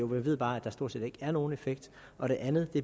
vi ved bare at der stort set ikke er nogen effekt og det andet